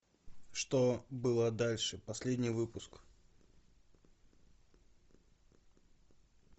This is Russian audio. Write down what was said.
что было дальше последний выпуск